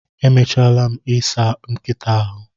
Emechaala m i saa nkịta ahụ